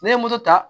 Ne ye moto ta